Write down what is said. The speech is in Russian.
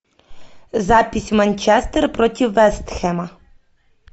запись манчестер против вест хэма